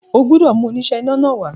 O gbọ́dọ̀ mú oníṣẹ́ iná náà wá